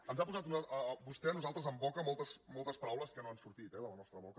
ens ha posat vostè a nosaltres en boca moltes paraules que no han sortit eh de la nostra boca